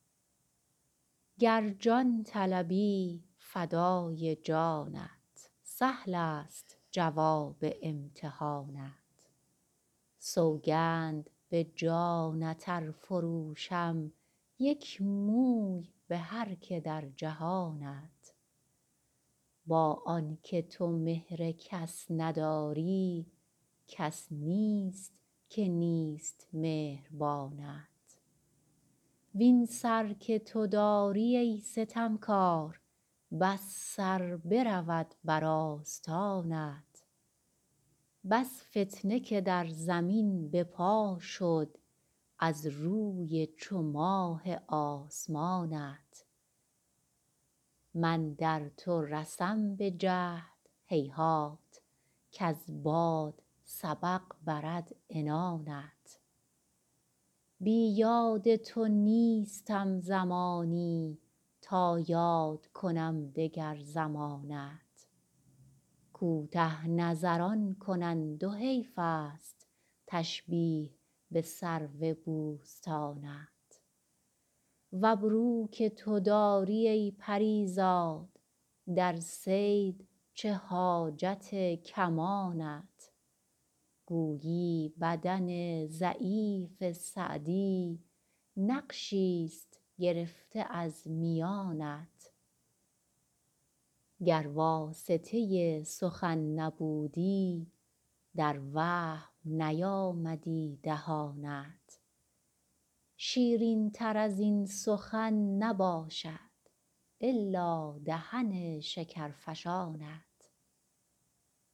گر جان طلبی فدای جانت سهلست جواب امتحانت سوگند به جانت ار فروشم یک موی به هر که در جهانت با آن که تو مهر کس نداری کس نیست که نیست مهربانت وین سر که تو داری ای ستمکار بس سر برود بر آستانت بس فتنه که در زمین به پا شد از روی چو ماه آسمانت من در تو رسم به جهد هیهات کز باد سبق برد عنانت بی یاد تو نیستم زمانی تا یاد کنم دگر زمانت کوته نظران کنند و حیفست تشبیه به سرو بوستانت و ابرو که تو داری ای پری زاد در صید چه حاجت کمانت گویی بدن ضعیف سعدی نقشیست گرفته از میانت گر واسطه سخن نبودی در وهم نیامدی دهانت شیرینتر از این سخن نباشد الا دهن شکرفشانت